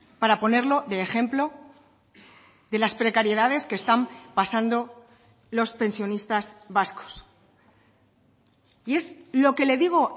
para ponerlo de ejemplo de las precariedades que están pasando los pensionistas vascos y es lo que le digo